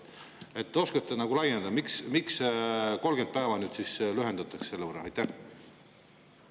Kas oskate nagu, miks see 30 päeva võrra lühendamine?